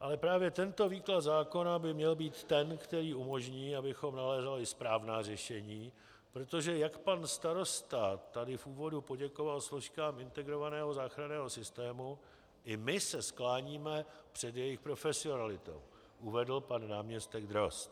ale právě tento výklad zákona by měl být ten, který umožní, abychom nalézali správná řešení, protože jak pan starosta tady v úvodu poděkoval složkám integrovaného záchranného systému, i my se skláníme před jejich profesionalitou, uvedl pan náměstek Drozd.